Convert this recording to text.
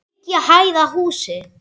Þriggja hæða húsi.